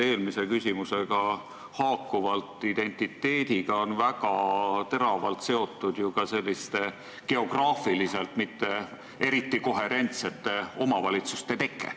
Eelmise küsimusega haakuvalt viitan, et identiteediga on väga tihedalt seotud ju ka selliste geograafiliselt mitte eriti koherentsete omavalitsuste teke.